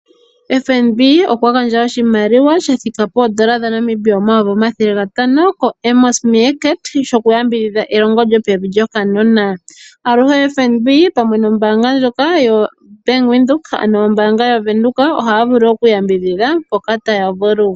FNB okwa gandja oshimaliwa shathika poondola omayovi omathele gatano kehangano lyoAmos Meerkat Early lyokuyambidhidha elongo lyopevi lyokanona. Aluhe FNB pamwe nombaanga ndjoka yaBank Windhoek ohaya vulu okuyambidhidha mpoka taya vulu.